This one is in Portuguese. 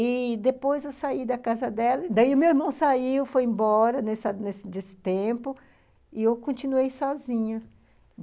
E depois eu saí da casa dela, daí meu irmão saiu, foi embora nessa nesse nesse tempo, e eu continuei sozinha.